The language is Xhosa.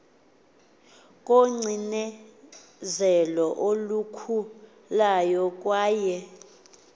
kocinezelo olukhulayo kwaye